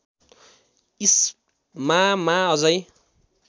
इस्मामा अझै